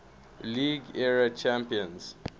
league era champions